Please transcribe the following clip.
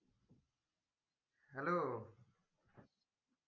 Hello